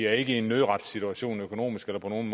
er ikke i en nødretssituation økonomisk eller på nogen